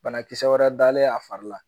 Banakisɛ wɛrɛ dalen a fari la